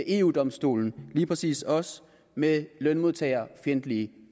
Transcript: eu domstolen præcis også med lønmodtagerfjendtlige